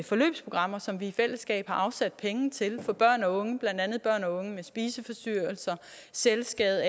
forløbsprogrammer som vi i fællesskab har afsat penge til for børn og unge blandt andet børn og unge med spiseforstyrrelser selvskade